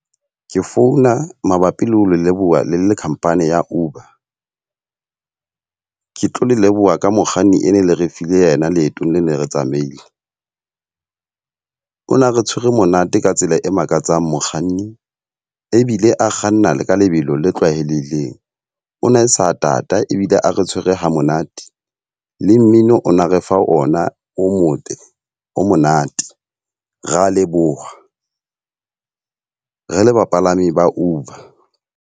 Ke founa mabapi le ho le leboha le le khampani ya Uber. Ke tlo le leboha ka mokganni e ne le re file yena leetong le ne re tsamaile. O na re tshwere monate ka tsela e makatsang mokganni, ebile a kganna ka lebelo le tlwaheleileng. O na sa tata ebile a re tshwere ha monate. Le mmino ona re fa ona o motle o monate. Re a leboha re le bapalami ba Uber.